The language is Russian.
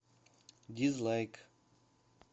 дизлайк